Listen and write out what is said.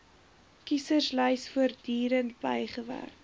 kieserslys voortdurend bygewerk